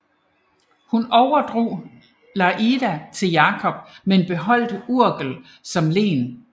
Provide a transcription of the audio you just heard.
Hun overdrog Lleida til Jakob men beholdt Urgell som len